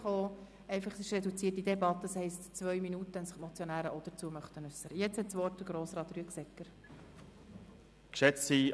Wir führen eine reduzierte Debatte, das heisst, es gibt 2 Minuten Redezeit, wenn sich die Motionäre auch dazu äussern möchten.